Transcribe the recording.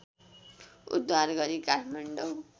उद्धार गरी काठमाडौँ